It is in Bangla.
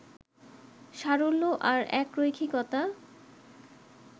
সারল্য আর একরৈখিকতা